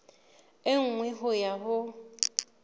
e nngwe ho ya ho